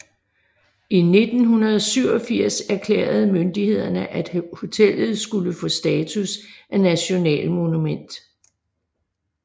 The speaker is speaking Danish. I 1987 erklærede myndighederne at hotellet skulle få status af nationalmonument